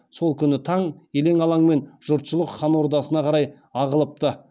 сол күні таң елең алаңнан жұртшылық хан ордасына қарай ағылыпты